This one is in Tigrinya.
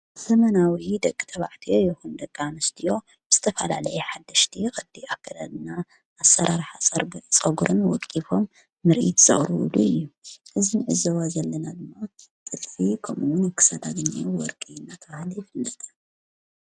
ዘመናዊ ደቂ ተባዕትዮ ይኹን ደቃ አንስትዮ ብዝተፈላለዩ ሓደሽቲ ቅዲ ኣከዳድና ኣሠራርሕ ጸጕርን ወቂፎም ምርኢት ዝቕርወሉ እዩ። እዝ ንዕዘዋ ዘለና ድማ ጥልፊ ኸምእዉን ክሳዳ ግኒ ወርቂ ነታበሃለ ይፍለጠ።